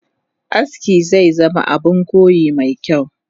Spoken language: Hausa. Aski zezama Abun koyi mekyau